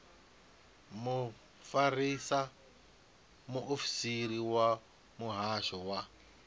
mufarisa muofisiri wa muhasho wa